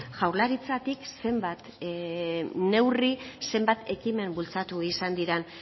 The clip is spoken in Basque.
jaurlaritzatik zenbat neurri zenbat ekimen bultzatu izan diren